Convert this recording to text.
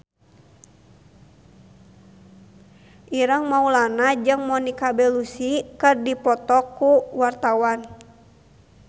Ireng Maulana jeung Monica Belluci keur dipoto ku wartawan